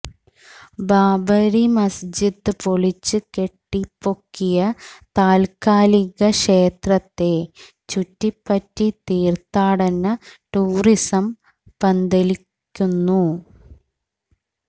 ബാബരി മസ്ജിദ് പൊളിച്ച് കെട്ടിപ്പൊക്കിയ താല്ക്കാലിക ക്ഷേത്രത്തെ ചുറ്റിപ്പറ്റി തീര്ഥാടന ടൂറിസം പന്തലിക്കുന്നു